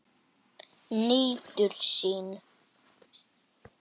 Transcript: Nýtur sín.